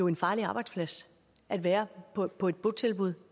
en farlig arbejdsplads at være på på et botilbud